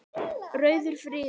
Rauður friður.